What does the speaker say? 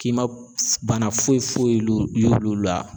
K'i ma bana foyi foyi la